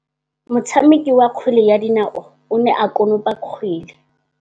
Motshameki wa kgwele ya dinaô o ne a konopa kgwele.